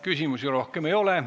Küsimusi rohkem ei ole.